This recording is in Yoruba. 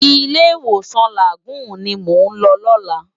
Ilé iwósan Lágúùn ni mó n lò lòlá